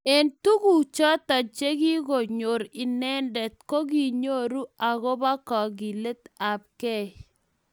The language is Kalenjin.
Eng tuguk choto chegikonyor inendet kokinyoru agoba kagilet tab kei